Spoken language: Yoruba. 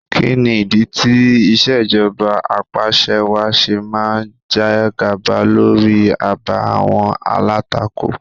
Kí ni ìdí tí ìṣèjọba apàṣẹwàá ṣe máa ń jègàba lórí àbá àwọn alátakò?